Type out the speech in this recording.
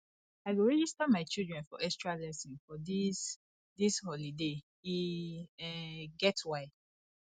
i go register my children for extralesson for dis dis holiday e um get why